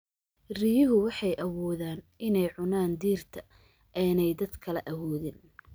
Riyuhu waxay awoodaan inay cunaan dhirta aanay dadka kale awoodin.